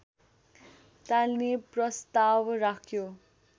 टाल्ने प्रस्ताव राख्यो